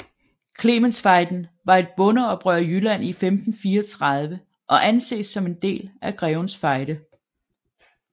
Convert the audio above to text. Clementsfejden var et bondeoprør i Jylland i 1534 og anses som en del af Grevens Fejde